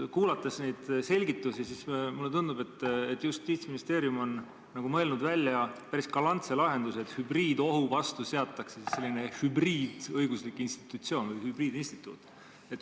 Kuulates neid selgitusi mulle tundub, et Justiitsministeerium on mõelnud välja päris galantse lahenduse, et hübriidohu vastu seatakse selline hübriidõiguslik institutsioon või hübriidinstituut.